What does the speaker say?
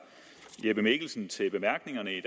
jeppe mikkelsen til bemærkningerne i